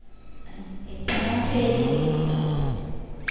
ഏർ ഇപ്പൊ എന്നാ ചെയ്യിന്ന്